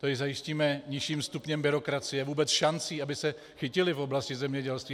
Tu jim zajistíme nižším stupněm byrokracie, vůbec šancí, aby se chytili v oblasti zemědělství.